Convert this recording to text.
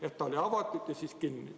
Et ta oli algul avatud ja siis kinni.